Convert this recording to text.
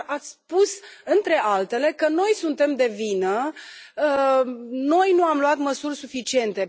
Dar ați spus, între altele, că noi suntem de vină, că noi nu am luat măsuri suficiente.